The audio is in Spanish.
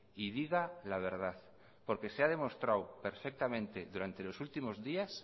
y diga la verdad porque se ha demostrado perfectamente durante los últimos días